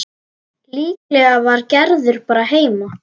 Líklega var Gerður bara heima.